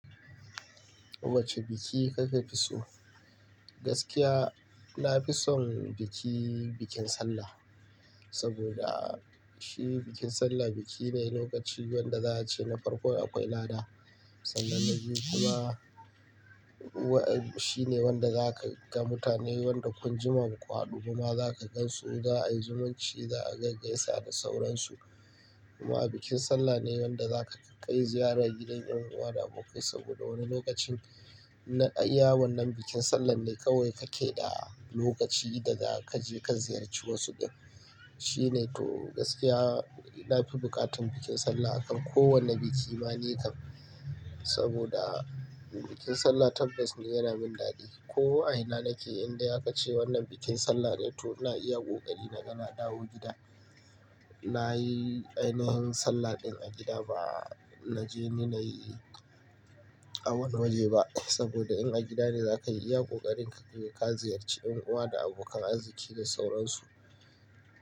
Wacce biki kake fi so? Gaskiya, na fi son biki, bikin sallah. Saboda shi bikin sallah biki ne lokaci wanda za a ce na farko akwai lada. Kuma wa-- shi ne wanda za ka ga mutane wanda kun jima ba ku haɗu kuma za ka gan su za a yi zumunci za a gaigaisa da sauransu. Kuma bikin sallah ne wanda za ka kai ziyara gidan yan uwa da abokai saboda wani lokacin na iya wannan bikin sallah ne kawai kake da lokaci da za ka je ka ziyarci wasu din. Shi ne to gaskiya, na fi buƙatan bikin sallah akan kowane biki ma ni kan. Saboda bikin sallah tabbas ne yana min daɗi. Ko a ina nake in da aka ce wannan bikin sallah ne to na iya ƙoƙari na gan na dawo gida. Na yi ainihin sallah ɗin a gida ba na je ni na yi a wani waje ba. Saboda in a gida ne za ka yi iya ƙoƙari ka je ka ziyarci yan uwa da abokan arziki da sauransu.